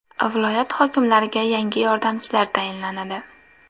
Viloyat hokimlariga yangi yordamchilar tayinlanadi.